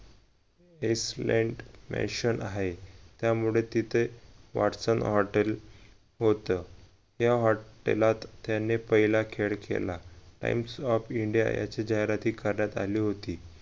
आहे त्यामुळे तिथे वॅटसन हॉटेल होत या हॉटेलात त्यांनी पहिला खेळ खेळला times of india याची जाहिरातही करण्यात आली होती